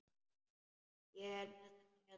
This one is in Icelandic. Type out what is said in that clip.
Ég er með þetta hérna.